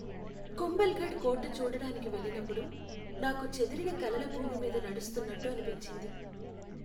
కుంభల్ఘఢ్ కోట చూడడానికి వెళ్ళినప్పుడు, నాకు చెదిరిన కలల భూమి మీద నడుస్తున్నట్టు అనిపించింది.